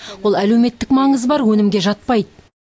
ол әлеуметтік маңызы бар өнімге жатпайды